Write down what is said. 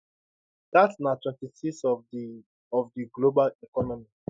dat na 26 of di of di global economy